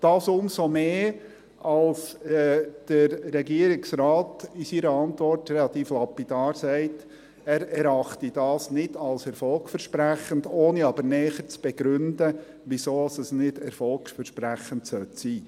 Dies umso mehr, als der Regierungsrat in seiner Antwort relativ lapidar sagt, er erachte das nicht als erfolgversprechend, ohne aber näher zu begründen, wieso das nicht erfolgversprechend sein sollte.